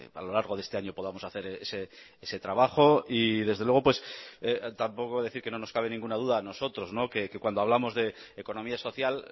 a lo largo de este año podamos hacer ese trabajo y desde luego pues tampoco decir que no nos cabe ninguna duda a nosotros que cuando hablamos de economía social